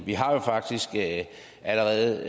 vi har jo faktisk allerede